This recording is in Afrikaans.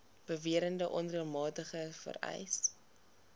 beweerde onreëlmatigheid vereis